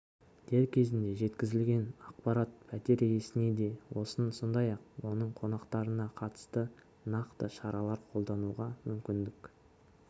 дер кезінде жеткізілген ақпарат пәтер иесіне де сондай-ақ оның қонақтарына қатысты нақты шаралар қолдануға мүмкіндік